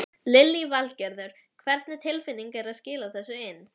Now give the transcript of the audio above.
Lillý Valgerður: Hvernig tilfinning er að vera skila þessu inn?